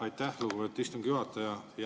Aitäh, lugupeetud istungi juhataja!